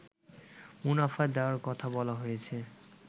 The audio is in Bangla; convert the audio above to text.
মুনাফা দেয়ার কথা বলা হয়েছে